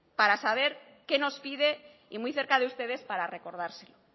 para saber qué nos pide y muy cerca de ustedes para recordárselo